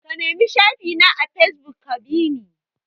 Ka nemi shafi na a fesbuk ka bi ni!